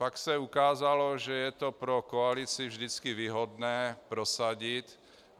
Pak se ukázalo, že je to pro koalici vždycky výhodné prosadit.